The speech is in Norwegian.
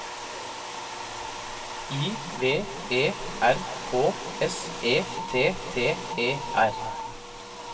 I V E R K S E T T E R